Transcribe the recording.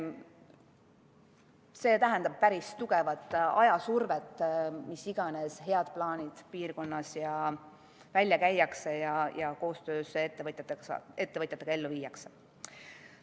See tähendab päris tugevat ajasurvet, mis iganes head plaanid piirkonnas välja käiakse ja koostöös ettevõtjatega ellu viiakse.